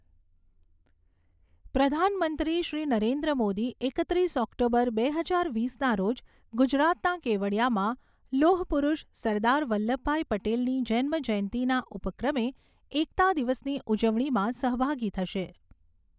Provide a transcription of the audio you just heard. પ્રધાનમંત્રી શ્રી નરેન્દ્ર મોદી એકત્રીસ ઓક્ટોબર, બે હજાર વીસના રોજ ગુજરાતના કેવડિયામાં લોહપુરુષ સરદાર વલ્લભભાઈ પટેલની જન્મજયંતિના ઉપક્રમે એકતા દિવસની ઉજવણીમાં સહભાગી થશે.